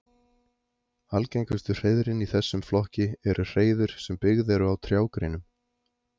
algengustu hreiðrin í þessum flokki eru hreiður sem byggð eru á trjágreinum